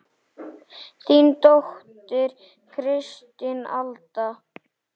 Þín dóttir Kristín Alda.